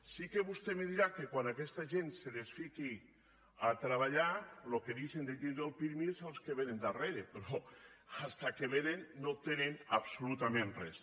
sí que vostè me dirà que quan a aquesta gent se la fiqui a treballar els que deixen de tindre el pirmi són los que vénen darrere però fins que vénen no tenen absolutament res